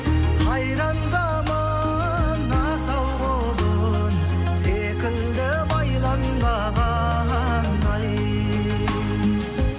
қайран заман асау құлын секілді байланбаған ай